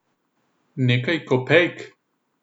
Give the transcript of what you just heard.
Nekaj kopejk?